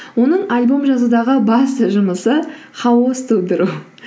оның альбом жазудағы басты жұмысы хаос тудыру